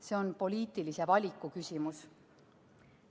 See on poliitilise valiku küsimus.